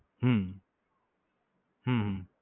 હમ હમ હમ